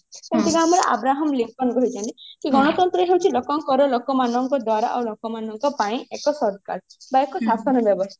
ଯେମତିକି ଆମର Abraham Lincoln କହିଛନ୍ତି ଯେ ଗଣତନ୍ତ୍ର ହଉଛି ଲୋକଙ୍କର ଲୋକ ମାନଙ୍କ ଦ୍ଵାରା ଆଉ ଲୋକ ମାନଙ୍କ ପାଇଁ ଏକ ସରକାର ବା ଏକ ଶାସନ ବ୍ୟବସ୍ତା